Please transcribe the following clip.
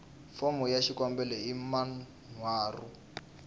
fomo ya xikombelo hi manharhu